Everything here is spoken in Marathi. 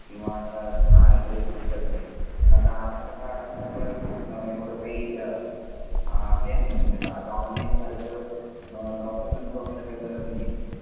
किंवा अड्रेसप्रूफ साठी पण आता आधार कार्ड असल्यामुळे एवढ काही हे नाही आता ऑनलाईन झालाय तर डॉकुमेन्ट फ्रॉम ची काही गरज नाही.